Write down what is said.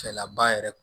Fɛlaba yɛrɛ